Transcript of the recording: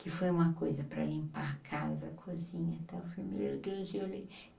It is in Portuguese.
que foi uma coisa para limpar a casa a cozinha meu Deus e eu olhei.